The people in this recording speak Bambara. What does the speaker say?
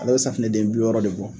Ale be safinɛ den bi wɔɔrɔ de bɔ